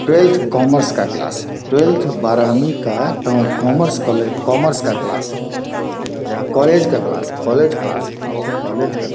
twelfth commerce का class है twelfth बारहवीं का टो कॉमर्स कॉलेज कॉमर्स का क्लास है ये कॉलेज का क्लास है कॉलेज क्लास है कॉलेज का --